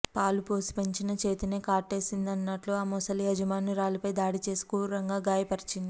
పాలు పోసి పెంచిన చేతినే కాటేసిందన్నట్లు ఆ మొసలి యజమానురాలిపై దాడి చేసి క్రూరంగా గాయపరిచింది